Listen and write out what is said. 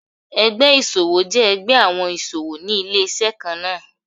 Ẹgbẹ́ ìṣòwò jẹ́ ẹgbẹ́ àwọn ìṣòwò ní ilé-iṣẹ́ kan náà.